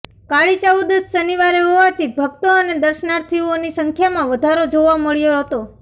કાળી ચૌદશ શનિવારે હોવાથી ભક્તો અને દર્શનાર્થીઓની સંખ્યામાં વધારો જોવા મળ્યો હતો